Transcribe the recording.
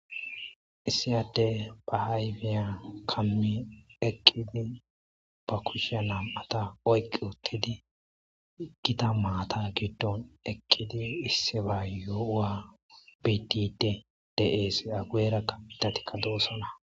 issiyadde ba hayfiya kammi eqqidi ba kushshe nam7ata oyqi uttidi gita maata giddon eqqidi issiba yowa bidide de7es agueera ka pitatikka doossona